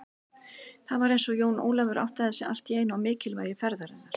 Það var eins og Jón Ólafur áttaði sig allt í einu á mikilvægi ferðarinnar.